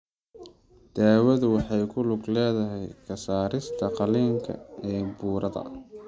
Daawadu waxay ku lug leedahay ka saarista qaliinka ee burada.